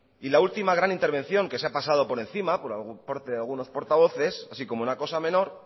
y la última gran intervención que se ha pasado por encima por parte de algunos portavoces así como una cosa menor